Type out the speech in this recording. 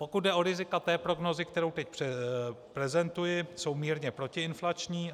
Pokud jde o rizika té prognózy, kterou teď prezentuji, jsou mírně protiinflační.